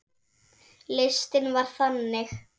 Listinn var þannig